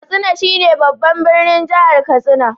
Katsina shi ne babban birnin Jihar Katsina.